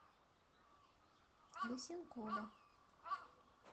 лысенкова